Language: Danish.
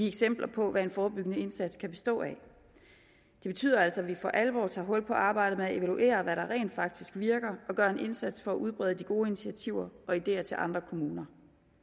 eksempler på hvad en forebyggende indsats kan bestå af det betyder altså at vi for alvor tager hul på arbejdet med at evaluere hvad der rent faktisk virker og gør en indsats for at udbrede de gode initiativer og ideer til andre kommuner